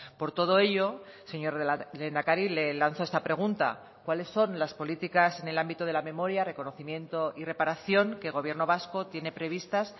por todo ello señor lehendakari le lanzo esta pregunta cuáles son las políticas en el ámbito de la memoria reconocimiento y reparación que el gobierno vasco tiene previstas